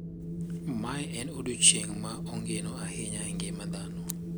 Mae en odiechieng` ma ongino ahinya e ngima dhano.